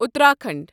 Uttarakhand